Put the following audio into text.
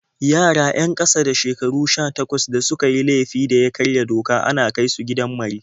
Yara 'yan ƙasa da shekaru 18 da suka yi laifin da ya karya doka ana kai su gidan mari.